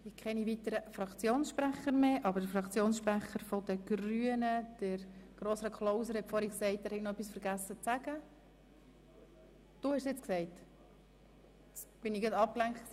Es gibt keine weiteren Fraktionssprecher mehr, aber der Fraktionssprecher der Grünen, Grossrat Klauser, hat vorhin gemeint, er habe noch etwas zu sagen vergessen.